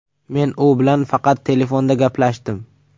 Men u bilan faqat telefonda gaplashdim.